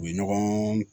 U ye ɲɔgɔn